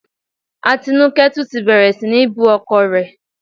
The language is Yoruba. Atinúkẹ́ tún ti bẹ̀rẹ̀ sí ní bú ọkọ rẹ